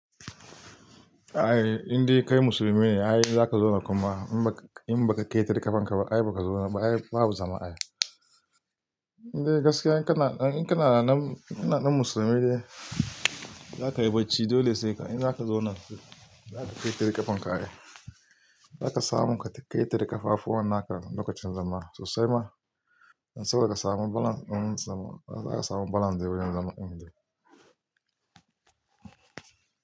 A'a, in dai kai musulmi ne, a'a in za ka zauna kuma in ba ka, in ba ka ƙaitari ƙafanka ba, a'a ba ka zauna ba a'a babu zama a yau. In dai gaskiya kana, in kana nan musulmi ne, za ka yi bacci dole sai in za ka zauna, za ka ƙaitari ƙafanka ne. Za ka samu ka ƙaitari ƙafafu wannan haka lokacin zama sosai ma, don haka za ka samu balans, zama za ka samu balans dai wurin zama in dai.